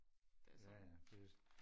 det er sådan